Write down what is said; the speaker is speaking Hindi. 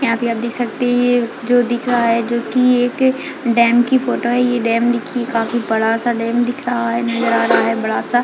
यहाँ पे आप देख सकते है जो दिख रहा है जो की एक डैम की फोटो है ये डैम देखिये काफी बड़ा सा डैम दिख रहा है नज़र आ रहा है बड़ा सा--